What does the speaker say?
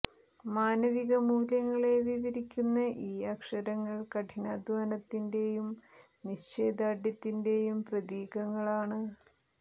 മാനവിക മൂല്യങ്ങളെ വിവരിക്കുന്ന ഈ അക്ഷരങ്ങൾ കഠിനാധ്വാനത്തിന്റെ യും നിശ്ചയദാർഢ്യത്തിന്റെയും പ്രതീകങ്ങളാണ്